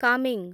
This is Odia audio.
କାମେଂ